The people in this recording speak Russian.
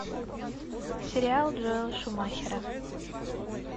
сериал джоэла шумахера